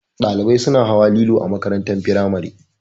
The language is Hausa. Ɗalibai suna hawa lilo a makarantar firamare